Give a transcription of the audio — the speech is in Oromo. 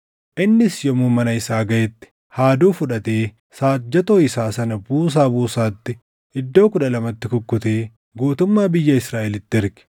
Innis yommuu mana isaa gaʼetti haaduu fudhatee saajjatoo isaa sana buusaa buusaatti iddoo kudha lamatti kukkutee guutummaa biyya Israaʼelitti erge.